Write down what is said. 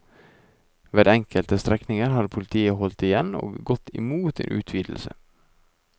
Ved enkelte strekninger har politiet holdt igjen og gått imot en utvidelse.